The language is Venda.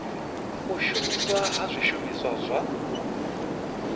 u shumiswa ha zwishumiswa zwa